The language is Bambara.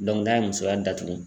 n'a ye musoya datugu